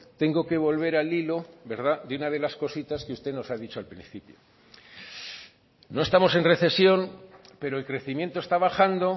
tengo que volver al hilo de una de las cositas que usted nos ha dicho al principio no estamos en recesión pero el crecimiento está bajando